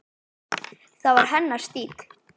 Það var hennar stíll.